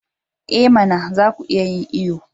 I mana! za ku iya yin iyo.